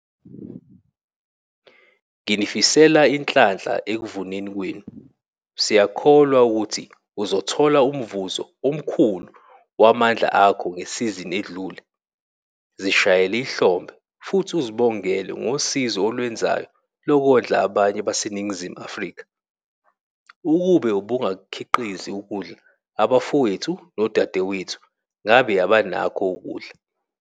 Nginifisela inhlanhla ekuvuneni kwenu - siyakholwa ukuthi uzothola umvuzo omkhulu wamandla akho ngesizini edlule. Zishayele ihlombe futhi uzibongele ngosizo olwenzayo lokondla abanye baseNingizimu Afrika. Ukube ubungakukhiqizi ukudla abafowethu nodadewethu ngabe abanakho ukudla.